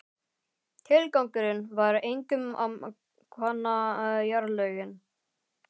Tilgangurinn var einkum að kanna jarðlögin.